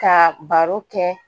Ka baro kɛ